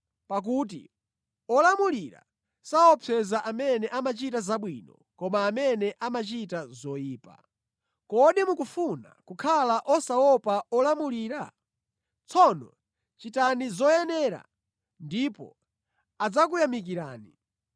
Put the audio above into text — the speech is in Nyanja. Pakuti olamulira saopseza amene amachita zabwino koma amene amachita zoyipa. Kodi mukufuna kukhala osaopa olamulira? Tsono chitani zoyenera ndipo adzakuyamikirani.